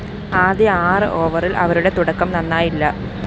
ആദ്യ ആറ് ഓവറില്‍ അവരുടെ തുടക്കം നന്നായില്ല